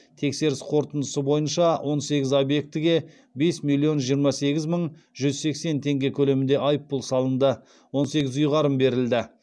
тексеріс қорытындысы бойынша он сегіз объектіге бес миллион жиырма сегіз мың жүз сексен теңге көлемінде айыппұл салынды он сегіз ұйғарым берілді